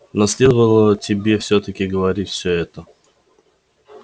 но следовало тебе всё-таки говорить все это